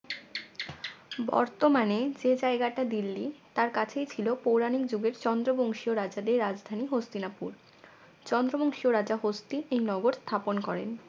বর্তমানে যে জায়গাটা দিল্লি তার কাছেই ছিল পৌরাণিক যুগের চন্দ্র বংশীয় রাজাদের রাজধানী হস্তিনাপুর চন্দ্রবংশীয় রাজা হস্তি এই নগর স্থাপন করেন